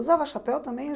Usava chapéu também?